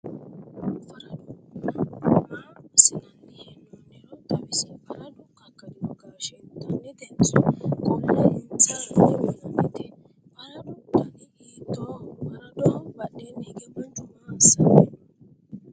faradunnu maa assinanni hee'nooniro xawisi? faradu kakkadino gaashe intannitenso qolle insaranni uyiinannite? faradu dani hiittooho? faradoho badheenni hige manchu maa assanni no?